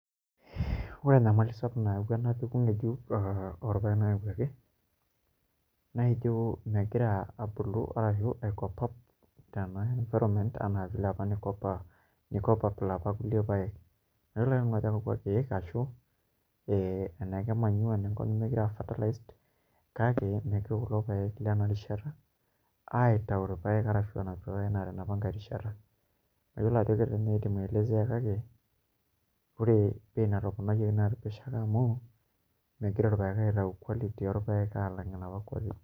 Ore enyamali sapuk nayaua ena peku ng'ejuk orpaek nayauaki naa ijo megira abulu arashu aicope up tena environment enaa vile apa naicope up ilapa kulie paek mayiolo ake nanu ajo kakwa keek ashu ee enaa ke manure enkop neme fertilised kake mepi kulo paek lend rishata aitau irpaek lenapa nkae rishata mayiolo ajo ketia mua aidim aielezea kake Ore entoki natoponayioki naa irpaat ake amu megira irpaek aitau quality aalang' enapa quality.